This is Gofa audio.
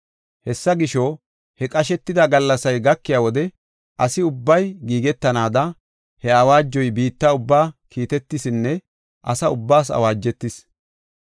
Hessa gisho, he qashetida gallasay gakiya wode asi ubbay giigetanaada, he awaajoy biitta ubbaa kiitetisinne asa ubbaas awaajetis.